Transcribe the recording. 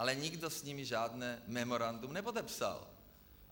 Ale nikdo s nimi žádné memorandum nepodepsal.